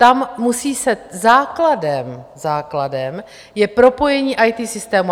Tam musí se základem - základem je propojení IT systému.